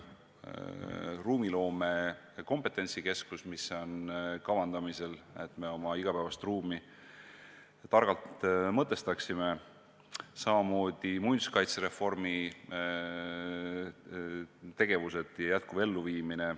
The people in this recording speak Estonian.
Edasi: ruumiloome kompetentsikeskus, mis on kavandamisel, et me oma igapäevast ruumi targalt mõtestaksime, samamoodi muinsuskaitsereformi tegevused, jätkuv elluviimine.